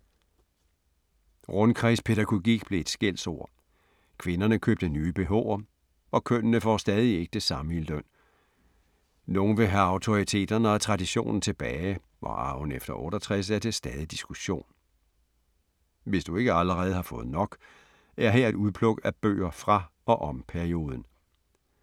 Rundkredspædagogik blev et skældsord. Kvinderne købte nye bh’er og kønnene får stadig ikke det samme i løn. Nogle vil have autoriteterne og traditionerne tilbage og arven efter 68 er til stadig diskussion. Hvis du ikke allerede har fået nok, er her et udpluk af bøger fra og om perioden.